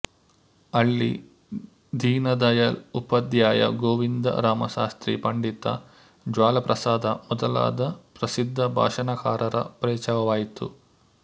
ಅಲ್ಲಿ ದೀನದಯಾಳ್ ಉಪಾಧ್ಯಾಯ ಗೋವಿಂದ ರಾಮ ಶಾಸ್ತ್ರೀ ಪಂಡಿತ ಜ್ವಾಲಾಪ್ರಸಾದ ಮೊದಲಾದ ಪ್ರಸಿದ್ಧ ಭಾಷಣಕಾರರ ಪರಿಚಯವಾಯಿತು